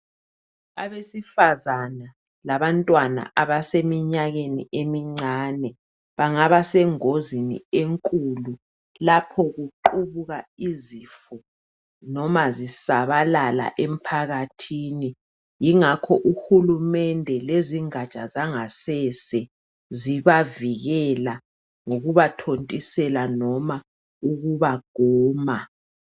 Abesifazana labantwana abaseminyakeni emincane, bangaba sengozini, enkulu lapho kuqubuka izifo. Noma zisabalala emphakathini. Yingakho uhulumende lezingaja zangasese, zibavikela, ngokubathontisela loba ukubaguma.